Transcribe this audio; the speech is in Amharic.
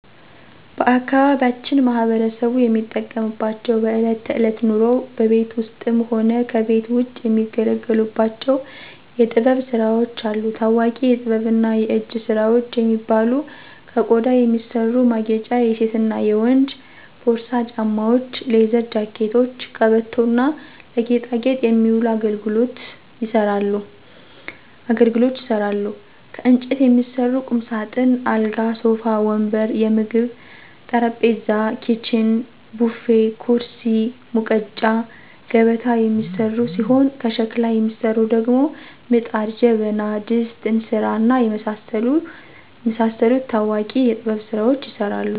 ባአካባቢያችን ማህበረሰቡ የሚጠቀምባቸው በእለት ተእለት ኑሮው በቤት ውስጥም ሆነ ከቤት ውጭ የሚገለገሉባቸው የጥበብ ስራዎች አሉ። ታዎቂ የጥበብና የእጅ ስራዎች የሚባሉ ከቆዳ የሚሰሩ ማጌጫ የሴትና የወንድ ፖርሳ፣ ጫማዎች፣ ሌዘር ጃኬቶች፣ ቀበቶ እና ለጌጣጌጥ የሚውሉ አገልግሎች ይሰራሉ። ከእንጨት የሚሰሩ ቁምሳጥን፣ አልጋ፣ ሶፋ ወንበር፣ የምግብ ጠረጴዛ፣ ኪችን፣ ቡፌ፣ ኩርሲ፣ ሙቀጫ፣ ገበታ የሚሰሩ ሲሆን ከሸክላ የሚሰሩት ደግሞ ምጣድ፣ ጀበና፣ ድስት፣ እንስራ፣ እና የመሳሰሉት ታዎቂ የጥበብ ስራዎች ይሰራሉ።